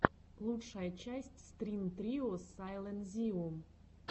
лучшая часть стрин трио сайлэнзиум